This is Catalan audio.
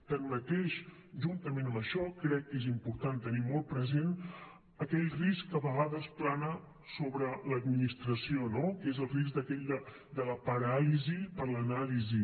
tanmateix juntament amb això crec que és important tenir molt present aquell risc que a vegades plana sobre l’administració no que és el risc aquell de la paràlisi per l’anàlisi